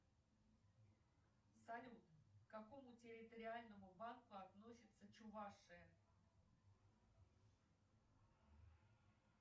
салют к какому территориальному банку относится чувашия